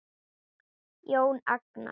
Jón Agnar?